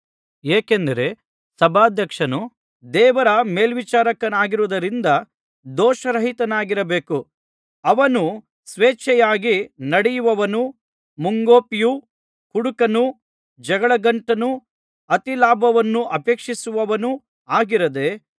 ಏಕೆಂದರೆ ಸಭಾಧ್ಯಕ್ಷನು ದೇವರ ಮೇಲ್ವಿಚಾರಕನಾಗಿರುವುದರಿಂದ ದೋಷರಹಿತನಾಗಿರಬೇಕು ಅವನು ಸ್ವೇಚ್ಛೆಯಾಗಿ ನಡೆಯುವವನೂ ಮುಂಗೋಪಿಯೂ ಕುಡುಕನೂ ಜಗಳಗಂಟನೂ ಅತಿಲಾಭವನ್ನು ಅಪೇಕ್ಷಿಸುವವನೂ ಆಗಿರದೆ